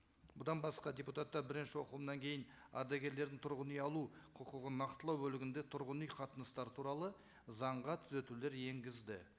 бұдан басқа депутаттар бірінші оқылымнан кейін ардагерлердің тұрғын үй алу құқығын нақтылау бөлігінде тұрғын үй қатынастары туралы заңға түзетулер енгізді